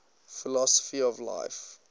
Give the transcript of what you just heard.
philosophy of life